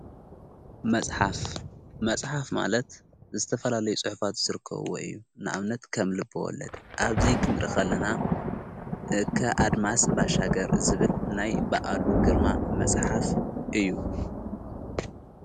መጽሓፍ መጽሓፍ ማለት ዝተፈላለይ ጽሕፋት ስርከብዎ እዩ ንኣብነት ከምልብወለድ ኣብዙይ ኽንረኸለና ከኣድማስ ባሻገር ዝብል ናይ ብኣሉ ግርማ መጽሓፍ እዩ::